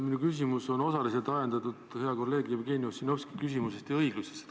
Minu küsimus on osaliselt ajendatud hea kolleegi Jevgeni Ossinovski küsimusest ja õiglusest.